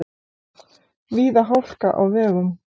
Víða hálka á vegum